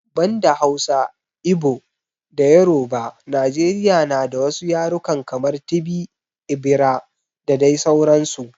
Banda Hausa, Igbo da Yoruba Najeriya na da wasu yarukan kamar, Tibi, Igbira da dai sauransu.